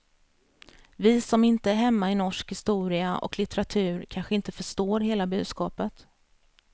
Vi som inte är hemma i norsk historia och litteratur kanske inte förstår hela budskapet.